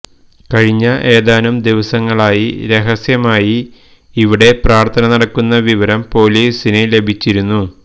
കഴിഞ്ഞ ഏതാനും ദിവസങ്ങളായി രഹസ്യമായി ഇവിടെ പ്രാർഥന നടക്കുന്ന വിവരം പോലീസിന് ലഭിച്ചിരുന്നു